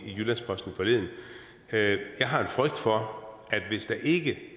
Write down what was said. i jyllands posten forleden jeg har en frygt for at hvis der ikke